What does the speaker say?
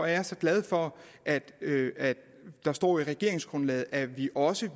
er så glad for at der står i regeringsgrundlaget at vi også